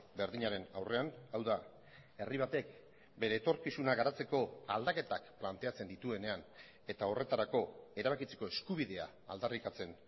berdinaren aurrean hau da herri batek bere etorkizuna garatzeko aldaketak planteatzen dituenean eta horretarako erabakitzeko eskubidea aldarrikatzen